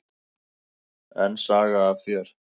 Enn saga af þér.